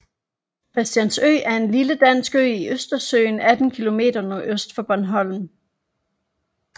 Christiansø er en lille dansk ø i Østersøen 18 km nordøst for Bornholm